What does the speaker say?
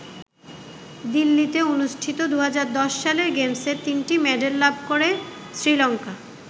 দিল্লিতে অনুষ্ঠিত ২০১০ সালের গেমসে তিনটি মেডাল লাভ করে শ্রী লংকা।